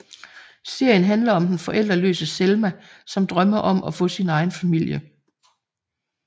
Serien handler om den forældreløse Selma som drømmer om at få sin egen familie